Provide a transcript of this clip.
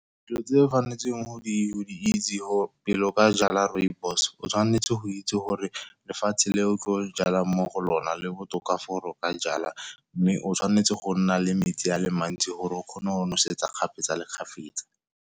Dilo tse o tshwanetseng go di itse, pele o ka jala rooibos o tshwanetse go itse gore lefatshe le o tlo jalang mo go lona le botoka for o ka jala. Mme o tshwanetse go nna le metsi a le mantsi gore o kgone go nosetsa kgapetsa le kgapetsa.